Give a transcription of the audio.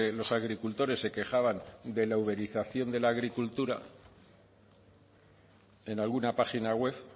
los agricultores se quejaban de la uberización de la agricultura en alguna página web